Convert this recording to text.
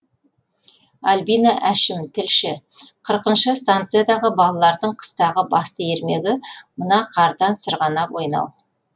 альбина әшім тілші қырықыншы станциядағы балалардың қыстағы басты ермегі мына қардан сырғанап ойнау